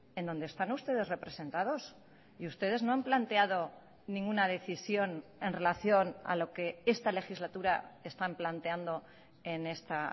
en donde están ustedes representados y ustedes no han planteado ninguna decisión en relación a lo que esta legislatura están planteando en esta